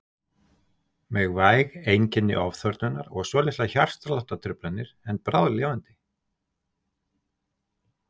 Með væg einkenni ofþornunar og svolitlar hjartsláttartruflanir en bráðlifandi.